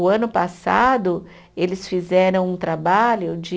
O ano passado, eles fizeram um trabalho de